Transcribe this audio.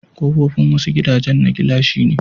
Kofofin wasu gidajan na gilashi ne.